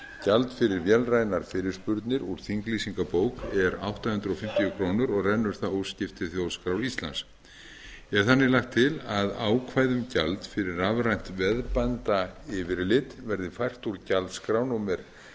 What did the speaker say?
gjald fyrir vélrænar fyrirspurnir úr þinglýsingabók er átta hundruð fimmtíu krónur og rennur það óskipt til þjóðskrár íslands er þannig lagt til að ákvæði um gjald fyrir rafrænt veðbandayfirlit verði fært úr gjaldskrá númer ellefu